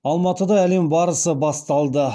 алматыда әлем барысы басталды